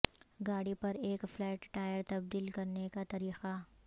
گاڑی پر ایک فلیٹ ٹائر تبدیل کرنے کا طریقہ